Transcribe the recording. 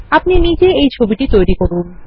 আপনি নিজেই এই ছবি তৈরি করুন